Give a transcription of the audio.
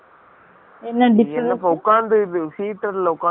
இதுல உக்காந்துட்டு seater ல ஒக்காந்துட்டு போன நால